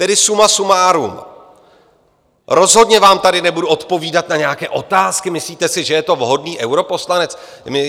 Tedy suma sumárum, rozhodně vám tady nebudu odpovídat na nějaké otázky: Myslíte si, že je to vhodný europoslanec?